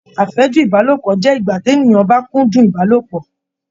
Afẹju Ibalopọ jẹ ìgbà t'eniyan ba kúndùn Ibalopọ.